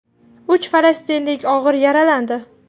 Uch falastinlik og‘ir yaralandi.